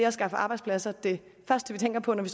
at skaffe arbejdspladser det første vi tænker på når vi